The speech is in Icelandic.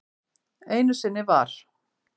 Einu sinni var.